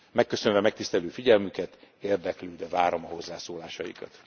Megköszönve megtisztelő figyelmüket, érdeklődve várom a hozzászólásaikat.